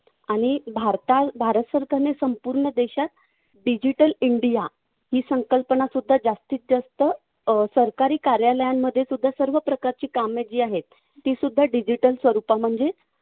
आणि भारत सरकारने संपूर्ण देशात digital india ही संकल्पनासुद्धा जास्तीतजास्त अं सरकारी कार्यालयांमध्येसुद्धा सर्वप्रकारची कामे जी आहेत तीसुद्धा digital स्वरूपामध्ये